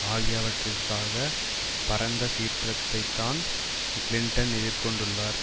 ஆகியவற்றிற்காக பரந்த சீற்றத்தைத்தான் கிளின்டன் எதிர்கொண்டுள்ளார்